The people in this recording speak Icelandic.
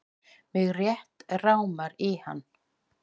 Mig rétt rámar í hann.